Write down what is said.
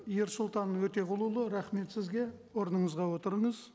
ерсұлтан өтеғұлұлы рахмет сізге орныңызға отырыңыз